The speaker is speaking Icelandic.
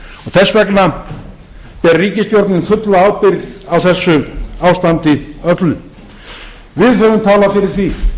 þess vegna ber ríkisstjórnin fulla ábyrgð á þessu ástandi öllu við höfum talað fyrir því